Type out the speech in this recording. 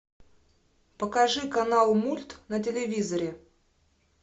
покажи канал мульт на телевизоре